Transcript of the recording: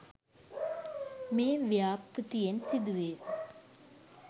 මේ ව්‍යාපෘතියෙන් සිදු වේ